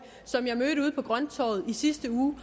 som jeg i sidste uge